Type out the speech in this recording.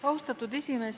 Austatud esimees!